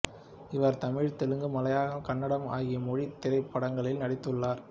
இவர் தமிழ் தெலுங்கு மலையாளம் கன்னடம் ஆகிய மொழி திரைப்படங்களில் நடித்துள்ளார்